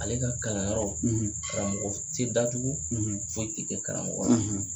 Ale ka kalanyɔrɔw karamɔgɔ tɛ datugu foyi tɛ kɛ karamɔgɔ la